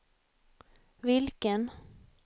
vilken